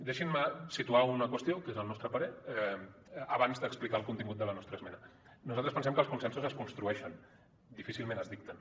deixin me situar una qüestió que és el nostre parer abans d’explicar el contingut de la nostra esmena nosaltres pensem que els consensos es construeixen difícilment es dicten